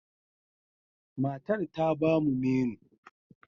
Matar ta ba mu menu.